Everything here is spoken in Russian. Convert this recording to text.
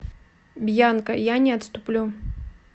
бьянка я не отступлю